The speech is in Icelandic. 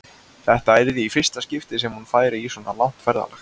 Þetta yrði í fyrsta skipti sem hún færi í svona langt ferðalag.